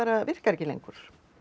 virkar ekki lengur